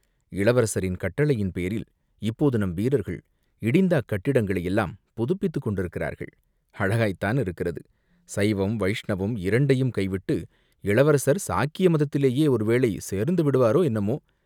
இளவரசரின் கட்டளையின் பேரில் இப்போது நம்வீரர்கள் இடிந்த அக்கட்டிடங்களை யெல்லாம் புதுப்பித்துக் கொண்டிருக்கிறார்கள்.!" "அழகாய்த்தானிருக்கிறது சைவம், வைஷ்ணவம் இரண்டையும் கைவிட்டு இளவரசர் சாக்கிய மதத்திலேயே ஒருவேளை சேர்ந்து விடுவாரோ, என்னமோ?